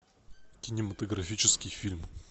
кинематографический фильм